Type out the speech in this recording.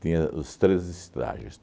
Tinha os três estágios.